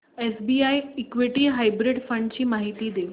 SBI equity hybrid fund ची माहिती दे